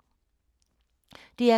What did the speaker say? DR K